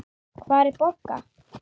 Hvar er Bogga?